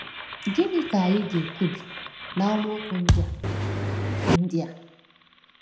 Gịnị ka anyị ga-ekwubi n’amaokwu ndị a? ndị a?